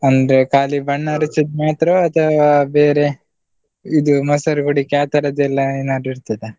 ಅಂದ್ರೆ ಖಾಲಿ ಬಣ್ಣ ಎರೆಚೊದ್ ಮಾತ್ರ ಅಥವಾ ಬೇರೆ? ಇದು ಮೊಸರು ಕುಡಿಕೆ ಆತರದ್ದೆಲ್ಲಾ ಏನಾದ್ರು ಇರ್ತದ?